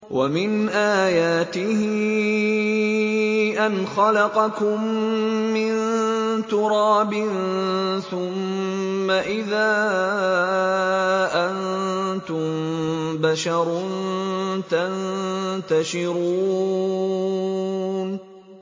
وَمِنْ آيَاتِهِ أَنْ خَلَقَكُم مِّن تُرَابٍ ثُمَّ إِذَا أَنتُم بَشَرٌ تَنتَشِرُونَ